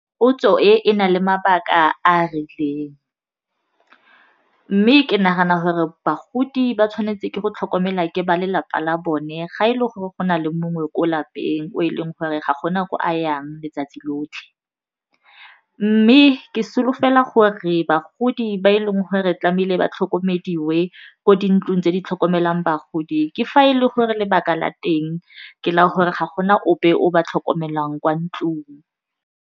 Potso e, e na le mabaka a rileng mme ke nagana gore bagodi ba tshwanetse ke go tlhokomela ke ba lelapa la bone ga e le gore go na le mongwe ko lapeng o e leng gore ga go na ko a yang letsatsi lotlhe mme ke solofela gore bagodi ba e leng gore re tlame'ile ba tlhokomediwe ko di ntlong tse di tlhokomelang bagodi ke fa e le gore lebaka la teng ke la gore ga go na ope o ba tlhokomelang kwa ntlong.